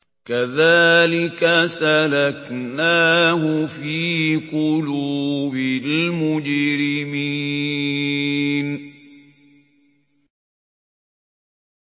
كَذَٰلِكَ سَلَكْنَاهُ فِي قُلُوبِ الْمُجْرِمِينَ